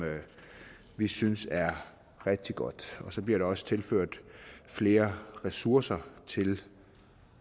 vi synes er rigtig godt og så bliver der også tilført flere ressourcer til